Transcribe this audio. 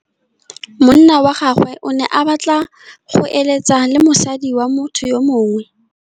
Monna wa gagwe o ne a batla go êlêtsa le mosadi wa motho yo mongwe.